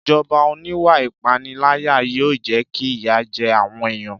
Ìjọba oníwà ìpániláyà yóò jẹ́ kí ìyà jẹ àwọn èèyàn